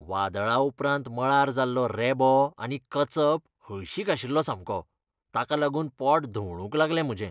वादळा उपरांत मळार जाल्लो रेबो आनी कचप हळशिक आशिल्लो सामको, ताका लागून पोट धवळूंक लागलें म्हजें.